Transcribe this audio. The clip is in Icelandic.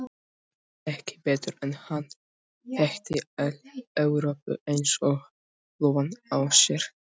Ég heyrði ekki betur en hann þekkti alla Evrópu eins og lófann á sér.